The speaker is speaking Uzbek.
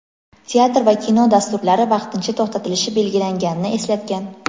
teatr va kino dasturlari vaqtincha to‘xtatilishi belgilanganini eslatgan.